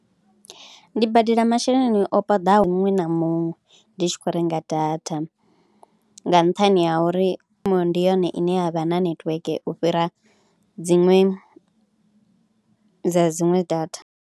Ndi badela masheleni opaḓaho muṅwe na muṅwe ndi tshi khou renga data nga nṱhani ha uri Vodacom ndi yone ine ya vha na netiweke u fhira dziṅwe dza dziṅwe data.